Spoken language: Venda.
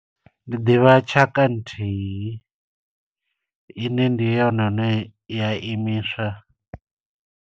Ndi ḓivha tshaka nthihi, ine ndi yone ine ya imiswa.